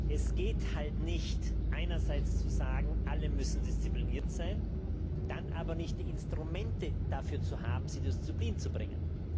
Es geht halt nicht, einerseits zu sagen Alle müssen diszipliniert sein, dann aber nicht die Instrumente dafür zu haben, sie zur Disziplin zu bringen.